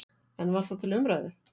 En var það til umræðu?